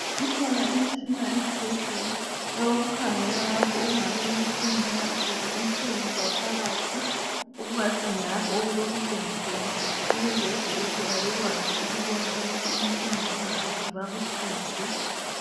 Ikhona imitshina ezibhedlela eyokukhangela lapho okungabe kubuhlungu nxa usizwa inhlungu zaphakathi okungadinga lapho okulobuhlungu khona, ukuze odokotela bakwazi ukubona ukuthi inkinga ingaphi bakusize.